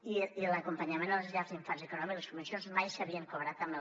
i l’acompanyament a les llars d’infants econòmic les subvencions mai s’havien cobrat amb el